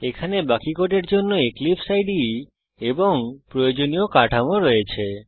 এখানে বাকি কোডের জন্য এক্লিপসে ইদে এবং প্রয়োজনীয় কাঠামো রয়েছে